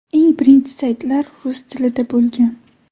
Eng birinchi saytlar rus tilida bo‘lgan.